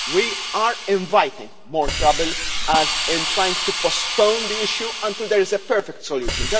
We are inviting more trouble by trying to postpone the issue until there is a perfect solution.